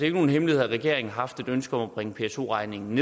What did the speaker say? ikke nogen hemmelighed at regeringen har haft et ønske om at bringe pso regningen